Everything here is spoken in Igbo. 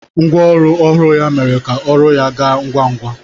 Ngwa ọrụ ọhụrụ ya mere ka ọrụ ya gaa ngwa ngwa.